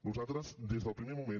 nosaltres des del primer moment